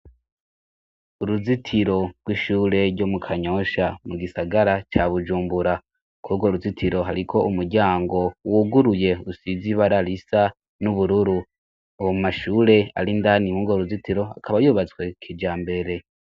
Uruzitiro rw'ishure ryo mu Kanyosha mu gisagara ca Bujumbura kurwa uruzitiro hariko umuryango wuguruye usize ibara risa n'ubururu, abo mashure arindani inkuga uruzitiro akaba yubatswe kijambere.